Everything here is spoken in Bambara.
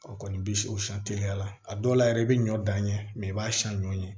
O kɔni bi se o san teliya la a dɔw la yɛrɛ i be ɲɔ dan ɲɛ i b'a siyɛn ɲɔ ye